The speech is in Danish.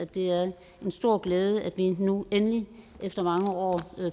det er en stor glæde at vi nu endelig efter mange år